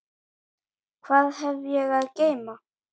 Hvað hef ég að geyma?